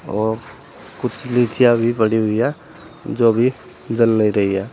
और कुछ लिचिया भी बनी हुई है जो अभी जल नहीं रही है।